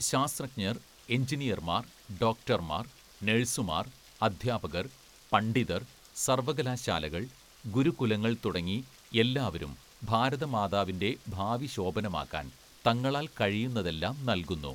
" ശാസ്ത്രജ്ഞര്‍, എന്‍ജിനിയര്‍മാര്‍, ഡോക്ടര്‍മാര്‍, നഴ്‌സുമാര്‍, അധ്യാപകര്‍, പണ്ഡിതര്‍, സര്‍വകലാശാലകള്‍, ഗുരുകുലങ്ങള്‍ തുടങ്ങി എല്ലാവരും ഭാരതമാതാവിന്റെ ഭാവി ശോഭനമാക്കാന്‍ തങ്ങളാല്‍ കഴിയുന്നതെല്ലാം നല്‍കുന്നു. "